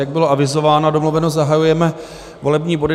Jak bylo avizováno a domluveno, zahajujeme volební body.